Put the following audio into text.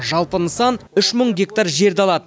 жалпы нысан үш мың гектар жерді алады